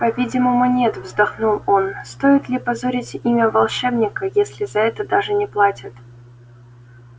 по-видимому нет вздохнул он стоит ли позорить имя волшебника если за это даже не платят